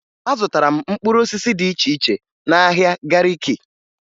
Azụtara m mkpụrụ osisi dị iche iche n'ahịa Gariki